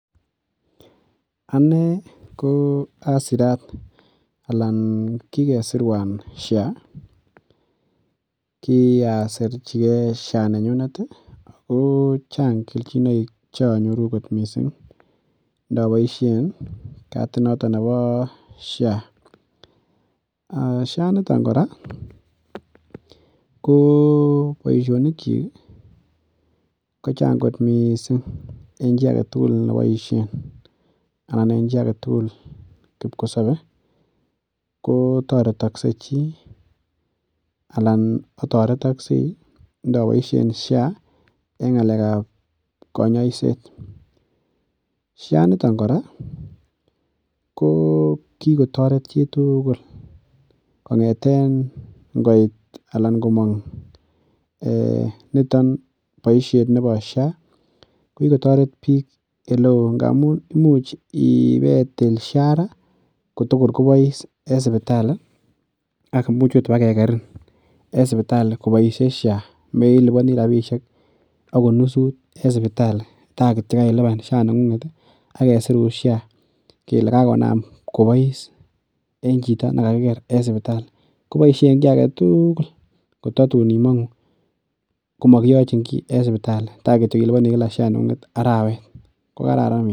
Anee ko asirat alan kiresirwan SHA kiasirjigen SHA nenyunet ii ko chang keljinoik cheonyoru kot missing inoboisien katit noton nebo SHA, SHA initon kora ko boisionikyik ii kochang kot missing en chi agetugul neboisien, anan en chi agetugul kibkosobe ko toretoksek chi alan atoretoksei inoboisien SHA en ng'alek ab konyoiset, SHA initon koranko kikotoret chi tugul kong'eten ng'oit alan komong niton boisiet nebo SHA ko kikotoret biik oleo n'gamun imuch ibeitil SHA ra kotogor kobois en sibitali ak imuch ot ibakekerin en sibitali koboishe SHA meliboni rabishiek agot nusut en sibitali ta kityo kokarilipan SHA nengung'et ii agesirun SHA kele kakonam kobois en chito negakiger en sibitali, koboishe en gii agetugul kototun imong'u komakiyoji gii en sibitali ta kityo iliboni SHA neng'ung'et arawet ko kararan missing.